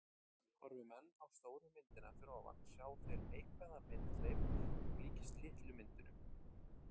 Horfi menn á stóru myndina fyrir ofan sjá þeir neikvæða myndleif sem líkist litlu myndunum.